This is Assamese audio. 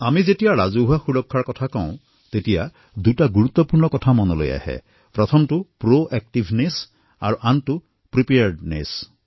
যেতিয়া আমি ৰাজহুৱা সুৰক্ষাৰ কথা কওঁ তেতিয়া দুটা কথা অতিশয় গুৰুত্বপূৰ্ণ হয় প্ৰোএক্টিভনেছ আৰু preparedness